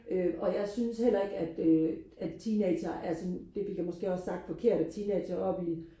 øh og jeg synes heller ikke at øh at teenagere er sådan det fik jeg måske også sagt forkert at teenagere er oppe i